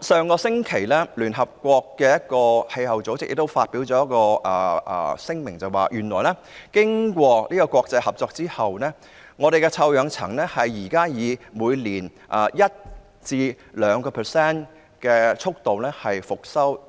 上星期，聯合國一個氣候組織亦發表一份聲明，表示經過國際合作，臭氧層現時正在以每年 1% 至 2% 的速度復修，